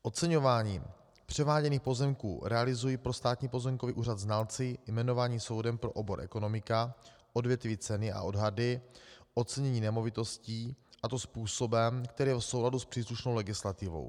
Oceňování převáděných pozemků realizují pro Státní pozemkový úřad znalci jmenovaní soudem pro obor ekonomika, odvětví ceny a odhady, ocenění nemovitostí, a to způsobem, který je v souladu s příslušnou legislativou.